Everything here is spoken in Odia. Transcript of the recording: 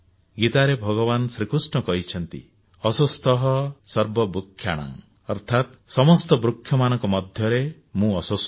ଗୀତାରେ ଭଗବାନ କୃଷ୍ଣ କହିଛନ୍ତି ଅଶ୍ୱତଥଃ ସର୍ବବୃକ୍ଷାଣାଂ ଅର୍ଥାତ୍ ସମସ୍ତ ବୃକ୍ଷମାନଙ୍କ ମଧ୍ୟରେ ମୁଁ ଅଶ୍ୱତଥ